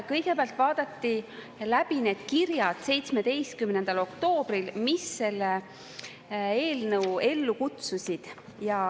Kõigepealt vaadati 17. oktoobril läbi need kirjad, mis selle eelnõu ellu kutsusid.